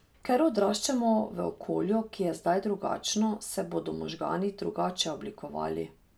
Ker odraščamo v okolju, ki je zdaj drugačno, se bodo možgani drugače oblikovali.